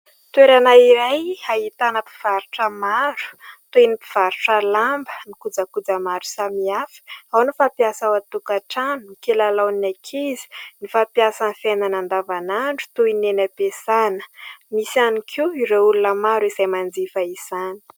Toerana iray ahitana mpivarotra maro toy ny mpivarotra lamba, ny kojakoja maro samihafa, ao ny fampiasa ao atokantrano, ny kilalaon'ny ankizy, ny fampiasa amin'ny fiainana andavanandro toy ny any am-piasàna. Misy ihany koa ireo olona maro izay manjifa izany.